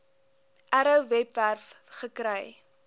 arrow webwerf gekry